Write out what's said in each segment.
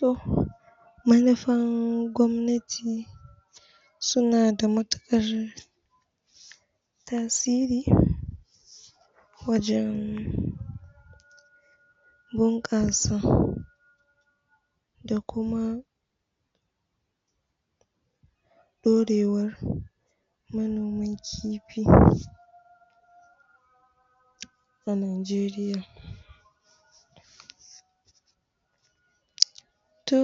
to manufar gwamnati suna da matukar tasiri wajen bunkasa da kuma dorewar manoman kifi a najeriya to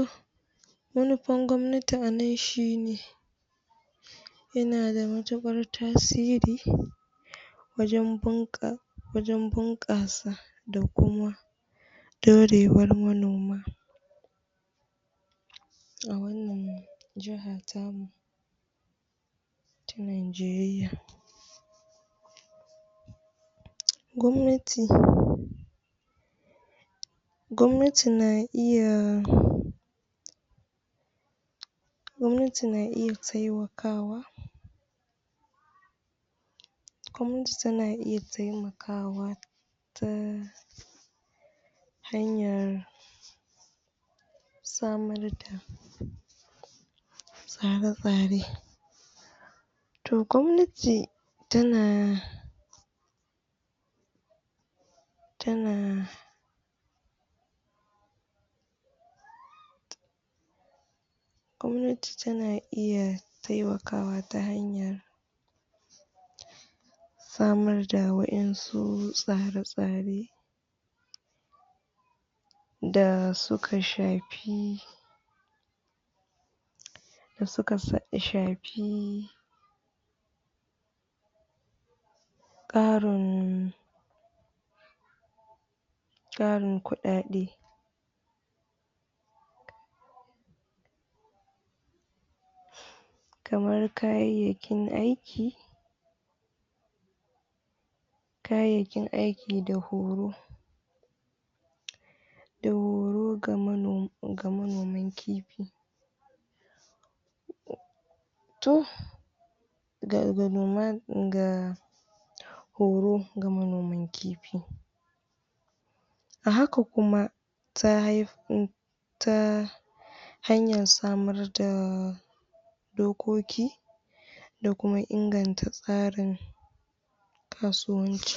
manufar gwamnati anan shine yana da matukar tasiri wajen bunkasa da kuma dorewar manoma a wannan jaha tamu ta najeriya gwamnati gwamnati na iya gwamnati na iya taimakawa gwamnati na iya taimakawa ta hanyar samar da tsare tsare to gwamnati tana tana gwamnati tana iya taimakawa ta hanyar samar da wadan su tsare tsare da suka shafi da suka shafi tsarin tsarin kudade kamar kayakyakin aiki kayayyakin aiki da horo da horo ga manoman kifi to ga noma ga horo ga manoman kifi a haka kuma ta haihu ta hanyar samar da dokoki da da kuma inganta tsarin kasuwanci